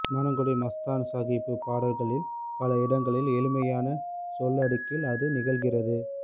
குணங்குடி மஸ்தான் சாகிபு பாடல்களில் பல இடங்களில் எளிமையான சொல்லடுக்கில் அது நிகழ்கிறது